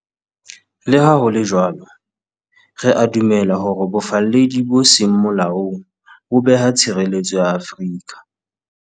Le ha ho le jwalo, re a dumela hore bofalledi bo seng molaong bo beha tshireletso ya Afrika.